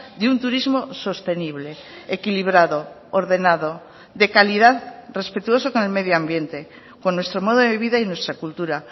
de un turismo sostenible equilibrado ordenado de calidad respetuoso con el medio ambiente con nuestro modo de vida y nuestra cultura